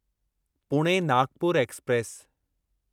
Pune Nagpur express